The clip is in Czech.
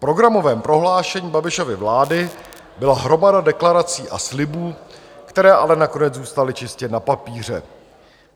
V programovém prohlášení Babišovy vlády byla hromada deklarací a slibů, které ale nakonec zůstaly čistě na papíře.